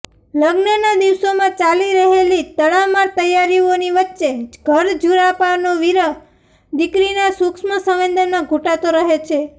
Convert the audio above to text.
લગ્નના દિવસોમાં ચાલી રહેલી તડામાર તૈયારીઓની વચ્ચે ઘરઝુરાપાનો વિરહ દીકરીના સૂક્ષ્મ સંવેદનમાં ઘુંટાતો રહે છે